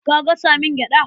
Ka gasa min gyaɗa.